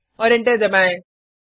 और एंटर दबाएँ